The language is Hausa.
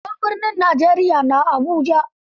Babban birnin Najeriya na Abuja.